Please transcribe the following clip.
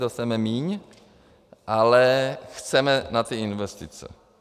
Dostaneme míň, ale chceme na ty investice.